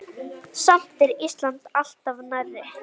Samt er Ísland alltaf nærri.